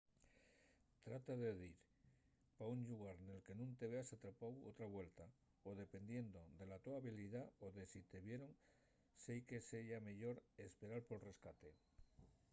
trata de dir pa un llugar nel que nun te veas atrapáu otra vuelta o dependiendo de la to habilidá o de si te vieron seique seya meyor esperar pol rescate